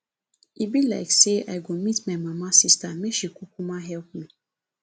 e be like say i go meet my mama sister make she kukuma help me